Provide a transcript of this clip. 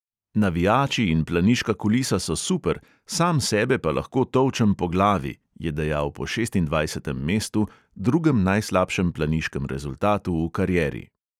"Navijači in planiška kulisa so super, sam sebe pa lahko tolčem po glavi," je dejal po šestindvajsetem mestu, drugem najslabšem planiškem rezultatu v karieri.